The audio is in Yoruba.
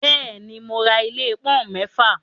Bẹ́ẹ̀ ni, mo ra ilé pọ́ọ́úǹ mẹ́fà.